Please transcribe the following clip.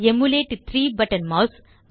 emulate 3 button mass